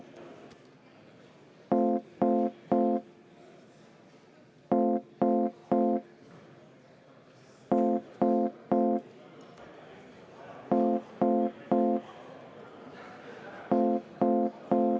Soovin võtta kümme minutit vaheaega EKRE fraktsiooni nimel.